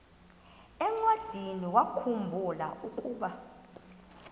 encwadiniwakhu mbula ukuba